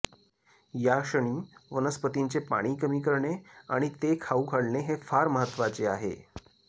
याक्षणी वनस्पतींचे पाणी कमी करणे आणि ते खाऊ घालणे हे फार महत्वाचे आहे